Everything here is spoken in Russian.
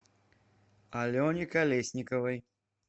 алене колесниковой